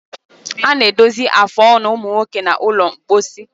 Ana edozi afụ ọnụ umunwoke na ụlọ mposi